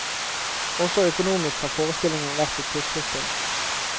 Også økonomisk har forestillingen vært et puslespill.